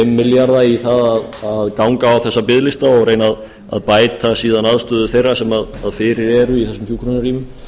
milljarða í það að ganga á þessa biðlista og reyna að bæta síðan aðstöðu þeirra sem fyrir eru í þessum hjúkrunarrýmum hlyti